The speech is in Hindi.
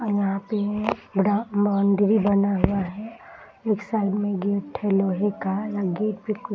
और यहाँ पे बड़ा बॉउंड्री बना हुआ है और एक साइड में गेट है लोहे का गेट पे कुछ --